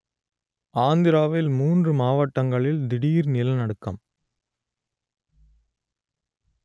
ஆந்திராவில் மூன்று மாவட்டங்களில் திடீர் நிலநடுக்கம்